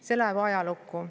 See läheb ajalukku.